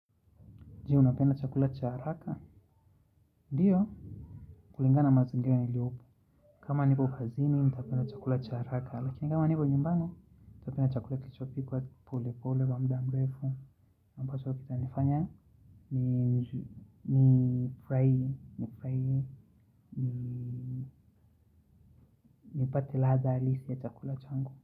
Jee, unapenda chakula cha haraka. Ndiyo, kulingana mazingira yaliopo. Kama nipo kazini, nitapenda chakula cha haraka. Lakini kama nipo nyumbani, nitapenda chakula kilichopikwa, kipole pole, kwa muda mrefu. Ambacho kitanifanya, nifurahi, nifurahie, nipate ladha halisi ya chakula changu.